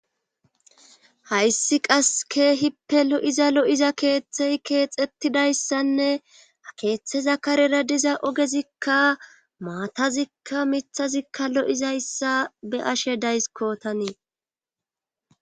Hayssi qas keehippe lo7iza lo7iza keethey keexettidayssanne ha keethza karera diza ohezikka maatazikka mithazikka lo7izayssa be7ashe daysikko tani.